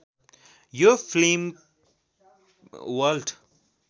यो फिलिम वल्ट